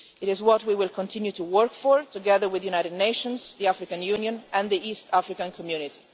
It is what we will continue to work for, together with the United Nations, the African Union and the East African Community.